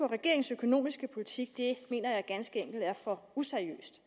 regeringens økonomiske politik mener jeg ganske enkelt er for useriøst